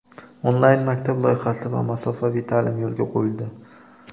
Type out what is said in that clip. "Onlayn maktab" loyihasi va masofaviy ta’lim yo‘lga qo‘yildi.